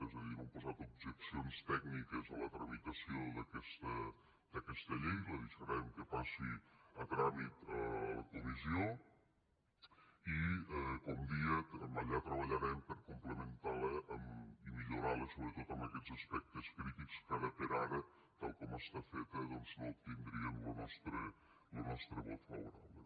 és a dir no hem posat objeccions tècniques a la tramitació d’aquesta llei la deixarem que passi a tràmit a la comissió i com deia allà treballarem per complementar la i millorar la sobretot en aquests aspectes crítics que ara per ara tal com està feta doncs no obtindrien lo nostre vot favorable